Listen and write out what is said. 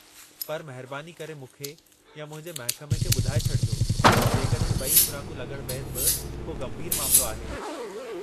पर महिरबानी करे मूंखे या मुंहिंजे महिकमे खे ॿुधाइ छडि॒जो जेकड॒हिं ब॒ई खु़राकूं लॻण बैदि बि को गंभीरु मामलो आहे।